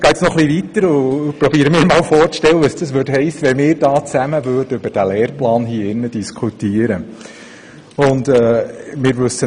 Ich gehe noch etwas weiter und versuche mir vorzustellen, was es heissen würde, wenn wir tatsächlich hier im Rat über den Lehrplan diskutieren würden.